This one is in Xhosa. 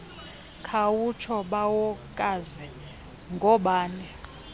khawutsho bawokazi ngoobani